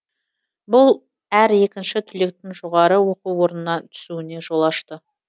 бұл әр екінші түлектің жоғары оқу орнына түсуіне жол ашты